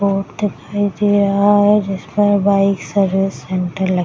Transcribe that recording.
board दिखाई दे रहा है जिसमे बाइक सर्विस सेण्टर लग --